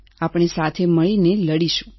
આપણે સાથે મળીને લડીશું